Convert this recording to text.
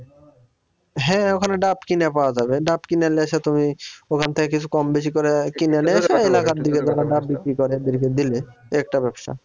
হ্যাঁ ওখানে ডাব কিনে পাওয়া যাবে ডাব কিনে নিয়ে এসে তুমি ওখান থেকে কিছু কমবেশি করে কিনে নিয়ে যারা ডাব বিক্রি করে তাদেরকে দিলে এ একটা ব্যবসা